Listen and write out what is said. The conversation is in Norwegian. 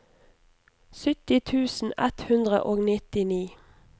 sytti tusen ett hundre og nittini